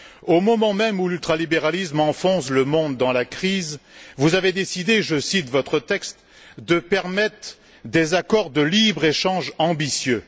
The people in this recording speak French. Au moment même où l'ultralibéralisme enfonce le monde dans la crise, vous avez décidé je cite votre texte de permettre des accords de libre échange ambitieux.